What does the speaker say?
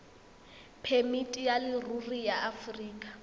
phemiti ya leruri ya aforika